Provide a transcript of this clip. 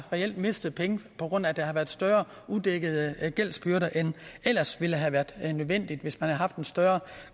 mistet penge på grund af at der har været større udækkede gældsbyrder end det ellers ville have været nødvendigt hvis man havde haft en større